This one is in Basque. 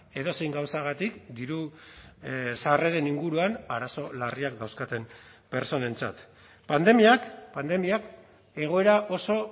edozein gauzagatik diru sarreren inguruan arazo larriak dauzkaten pertsonentzat pandemiak pandemiak egoera oso